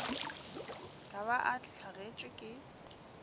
ka ba a hlagetšwe ke